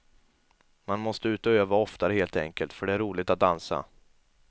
Man måste ut och öva oftare helt enkelt, för det är roligt att dansa.